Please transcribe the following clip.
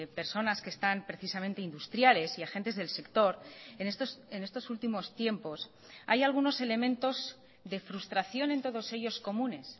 personas que están precisamente industriales y agentes del sector en estos últimos tiempos hay algunos elementos de frustración en todos ellos comunes